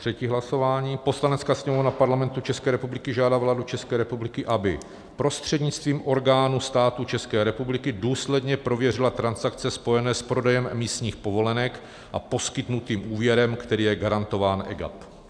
Třetí hlasování: "Poslanecká sněmovna Parlamentu České republiky žádá vládu České republiky, aby prostřednictvím orgánů státu České republiky důsledně prověřila transakce spojené s prodejem emisních povolenek a poskytnutým úvěrem, který je garantován EGAP."